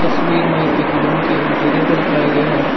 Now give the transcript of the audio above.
तस्वीर में एक रूम के इंटीरियर को दिखाया गया है।